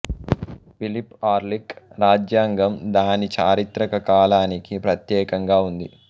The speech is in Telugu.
పిలిప్ ఆర్లిక్ రాజ్యాంగం దాని చారిత్రక కాలానికి ప్రత్యేకంగా ఉంది